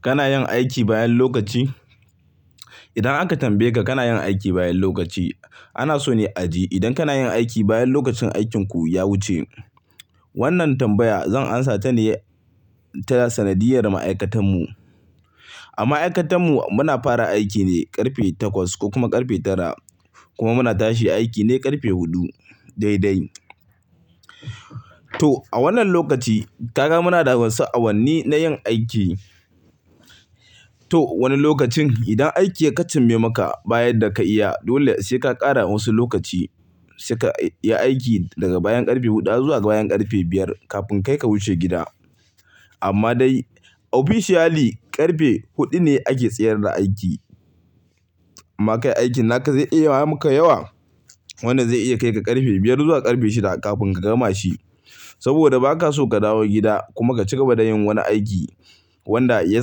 Kana yin aiki bayan lokaci? Idan aka tambaye ka kana yin aiki bayan lokaci ana so ne a ji idan kana yin aiki bayan lokacin aikinku ya wuce. Wannan tambaya zan amsa ta ne ta sanadiyar ma'aikatan mu. Amma ma'aikatan mu muna fara aiki ne ƙarfe takwas ko kuma ƙarfe tara kuma muna tashi aiki ne ƙarfe huɗu dai dai. To a wannan lokaci kaga muna da wasu awanni na yin aiki. To wani lokacin idan aiki ya ƙaceme maka bayan da ka iya dole sai ka ƙara wasu lokaci sai ka yi aiki daga bayan ƙarfe huɗu zuwa bayan ƙarfe biyar kafin kai ka wuce gida. Amma dai officially ƙarfe huɗu ne ake tsayar da aiki. Amma kai aikin naka zai iya yawan maka yawa. Wannan zai iya kai ka ƙarfe biyar zuwa ƙarfe shida kafin ka gama shi. Saboda ba ka so ka dawo gida kuma ka cigaba da yin wani aiki wanda ya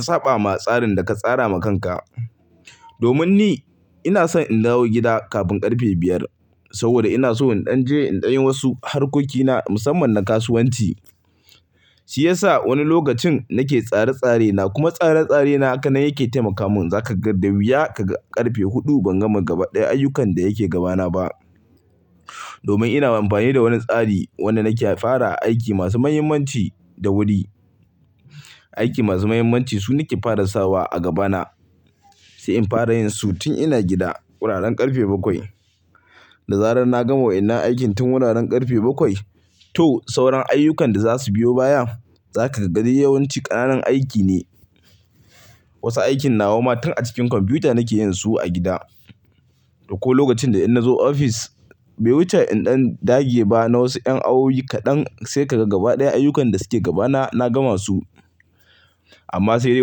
saɓa ma tsarin da ka tsara ma kanka. Domin ni ina son in dawo gida kafin ƙarfe biyar saboda ina so in ɗan je in ɗan yi wasu harkokina musamman na kasuwanci. Shi yasa wani lokacin nake tsare-tsare na kuma tsare-tsare na haka na yake taimaka mun. Za ka ga da wuya ka ga ƙarfe huɗu ban gama gaba ɗaya ayyukan da yake gabana ba. Domin ina amfani da wani tsari wanda nake fara aiki masu muhimmanci da wuri. Aiki masu muhimmanci su nake fara sawa a gabana sai in fara yin su tun ina gida wuraren ƙarfe bakwai. Da zarar na gama waina aikin tun wuraren ƙarfe bakwai to sauran ayyukan da za su biyo baya za ka ga dai yawanci ƙananan aiki ne. Wasu aikin nawa ma tun a cikin kwamfuta nake yin su a gida. Ko lokacin da ina zuwa ofis bai wuce in ɗan dage ba na wasu ƴan awi kaɗan sai ka ga gaba ɗaya ayyukan da suke gabana na gama su. Amma sai dai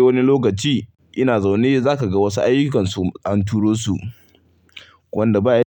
wani lokaci ina zaune zaka ga wasu ayyukansu an turo su wanda ba ya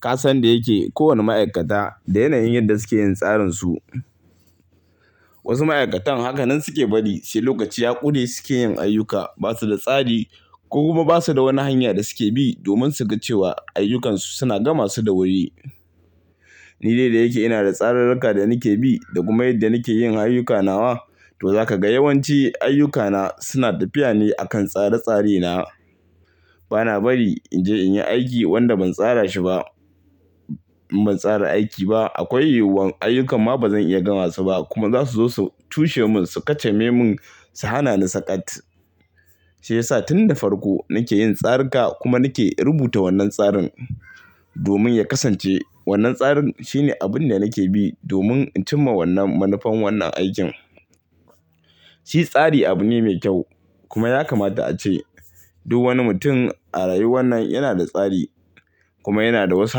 ka san da yake kowane ma'aikata da yanayin yadda suke yin tsarinsu. Wasu ma'aikatan haka nan suke bari sai lokaci ya ƙure suke yin ayyuka. Ba su da tsari ko kuma ba su da wani hanya da suke bi domin su ga cewa ayyukansu suna gama su da wuri. Ni dai da yake ina da tsararrika da nake bi da kuma yadda nake yin ayyuka nawa to za ka ga yawanci ayyukana suna tafiya ne a kan tsare-tsare na. Bana bari in je in yi aiki wanda ban tsara shi ba. Ban tsara aiki ba akwai yiwuwan ayyuka ma bazan iya gama su ba kuma za su zo su cushe mun su kaceme mun su hana ni saƙat. Shi yasa tun da farko nake yin tsari ka kuma nake rubuta wannan tsarin domin ya kasance wannan tsarin shine abun da nake bi domin in cimma wannan manufan wannan aikin. Shi tsari abu ne mai kyau kuma ya kamata a ce duk wani mutum a rayuwan nan yana da tsari kuma yana da wasu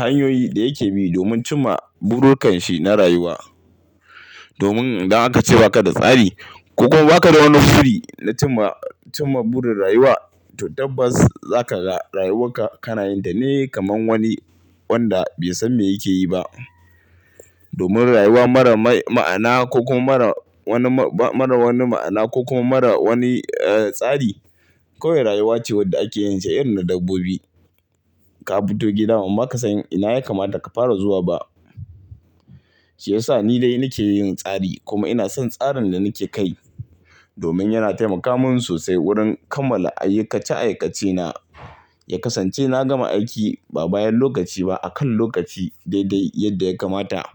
hanyoyi da yake bi domin cimma burukan shi na rayuwa. Domin idan aka ce ba ka da tsari ko kuma ba ka da wani buri na cimma, cimma burin rayuwa to tabbas za ka ga rayuwarka kana yin ta ne kamar wani wanda bai san me yake yi ba. Domin rayuwa mara mai ma'ana ko kuma mara wani ma, mara wani ma'ana ko kuma mara wani, eh, tsari kawai rayuwa ce wadda ake yin ta irin na dabbobi. Ka fito gida amma baka san ina ya kamata ka fara zuwa ba. Shi yasa ni dai nake yin tsari kuma ina son tsarin da nake kai domin yana taimaka mun sosai wurin kammala aikace aikace na. Ya kasance na gama aiki ba bayan lokaci ba a kan lokaci dai dai yadda ya kamata.